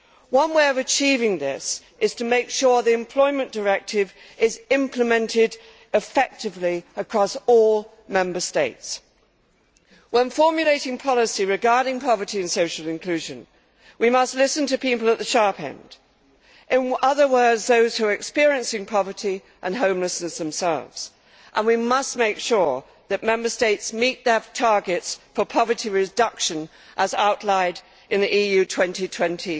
One way of achieving this is to make sure the Employment Directive is implemented effectively across all Member States. When formulating policy regarding poverty and social inclusion, we must listen to people at the sharp end in other words, those who are experiencing poverty and homelessness themselves. We must make sure that Member States meet their targets for poverty reduction as outlined in the EU 2020